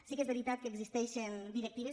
sí que és veritat que existeixen directives